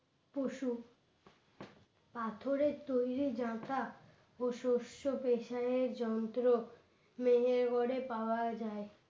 পশু পাথরের তৈরি যাতা ও শস্য পেশার যন্ত্র মেহেরগড়ে পাওয়া যায়।